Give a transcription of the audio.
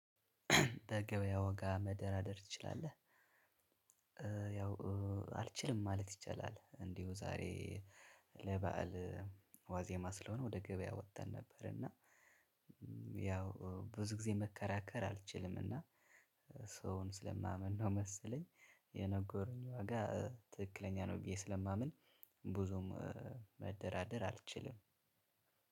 በገበያ ወጋ መደራደር ትችላለህ? ያው አልችልም ማለት ይቻላል እንዲሁ ዛሬ ለበአል ዋዜማ ስለሆነ ወደ ገበያ ወተን ነበር። እና ብዙ ጊዜ መከራከር አልችልም። እና ሰውን ስለማምን ነው መሰለኝ የነገሩኝ ዋጋ ትክክለኛ ነው ብዬ ስለማምን ብዙም መደራደር አልችልም።